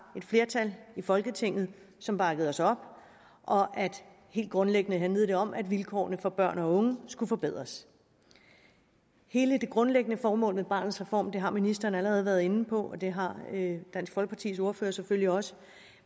et flertal i folketinget som bakkede os op helt grundlæggende handlede det om at vilkårene for børn og unge skulle forbedres hele det grundlæggende formål med barnets reform har ministeren allerede været inde på og det har dansk folkepartis ordfører selvfølgelig også